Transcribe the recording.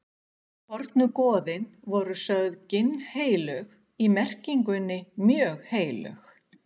fornu goðin voru sögð ginnheilög í merkingunni mjög heilög